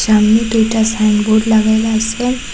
সামনে দুইটা সাইনবোর্ড লাগানো আসে ।